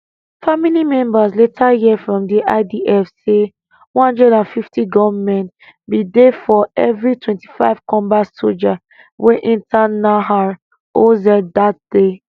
family members later hear from idf say 150 gunmen bin dey for evri 25 combat sojas wey enta nahal oz dat day